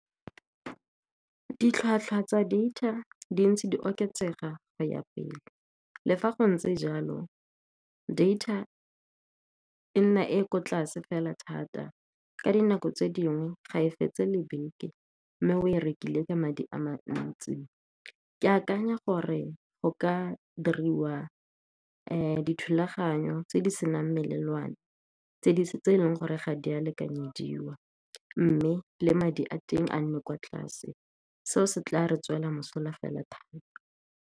Ditlhwatlhwa tsa data di ntse di oketsega go ya pele, le fa go ntse jalo, data e nna e ko tlase fela thata ka dinako tse dingwe, ga e fetse le beke. Mme o e rekile ka madi a mantsi, ke akanya gore go ka diriwa dithulaganyo tse di senang melelwane, tse e leng gore ga di a lekanyediwang, mme le madi a teng a nne kwa tlase. Seo se tla re tswela mosola fela thata.